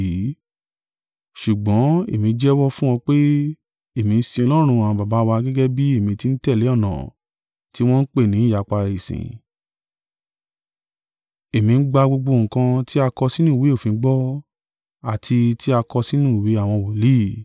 Ṣùgbọ́n, èmí jẹ́wọ́ fún ọ pé, èmi ń sin Ọlọ́run àwọn baba wa gẹ́gẹ́ bí èmi ti ń tẹ̀lé ọ̀nà tí wọ́n ń pè ni ìyapa ìsìn. Èmi ń gbá gbogbo nǹkan ti a kọ sínú ìwé òfin gbọ́, àti tí a kọ sínú ìwé àwọn wòlíì,